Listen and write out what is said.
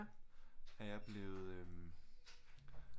Er jeg blevet øh